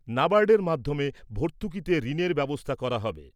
নাবার্ডের মাধ্যমে ভর্তুকীতে ঋণের ব্যবস্থা করা হবে ।